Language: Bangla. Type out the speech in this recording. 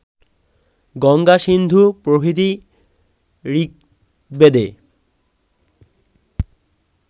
গঙ্গা-সিন্ধু প্রভৃতি ঋগ্বেদে